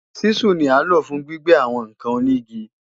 Ṣísù ni à ń lò fún gbígbẹ́ àwọn ǹkan onígi